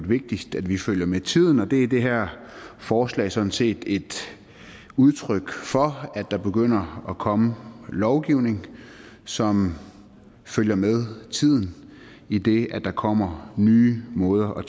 vigtigt at vi følger med tiden og det er det her forslag sådan set et udtryk for at der begynder at komme lovgivning som følger med tiden idet der kommer nye måder at